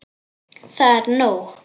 Það er nóg.